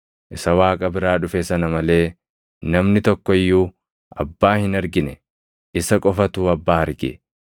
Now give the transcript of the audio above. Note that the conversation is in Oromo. Isa Waaqa biraa dhufe sana malee namni tokko iyyuu Abbaa hin argine; isa qofatu Abbaa arge.